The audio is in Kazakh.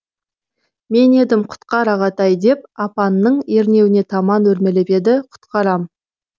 мен едім құтқар ағатай деп апанның ернеуіне таман өрмелеп еді құтқарам